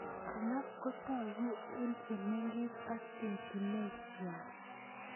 Alak kotoku eng komengech ak etunet nenywa.